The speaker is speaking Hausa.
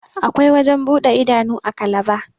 akwai wajen buɗe idanu a kalaba